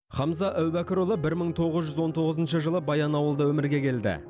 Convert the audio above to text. хамза әубәкірұлы бір мың тоғыз жүз он тоғызыншы жылы баянауылда өмірге келді